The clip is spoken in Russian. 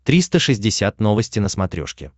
триста шестьдесят новости на смотрешке